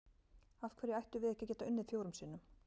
Af hverju ættum við ekki að geta unnið fjórum sinnum?